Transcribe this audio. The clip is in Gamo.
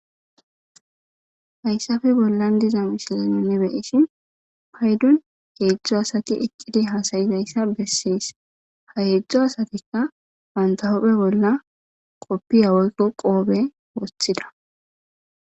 hayssafe bollan diza mishilenune beyishin paydun heedzdzu asati eqqidi hasayizayssa bessees hayeedzdzo asatikka bantahopphe bolla qoppi yawoykko qoobe wothida